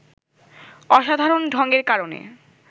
অসাধারণ ঢংয়ের কারণে